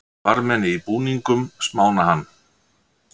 Varðmenn í búningum smána hann